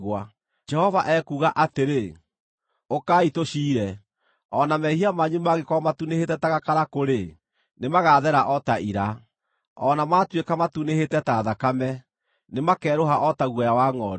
Jehova ekuuga atĩrĩ, “Ũkai tũciire. O na mehia manyu mangĩkorwo matunĩhĩte ta gakarakũ-rĩ, nĩmagathera o ta ira; o na maatuĩka matunĩhĩte ta thakame, nĩmakerũha o ta guoya wa ngʼondu.